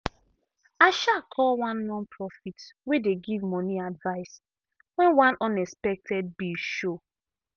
i um call one nonprofit wey dey give money advice when one unexpected bill show.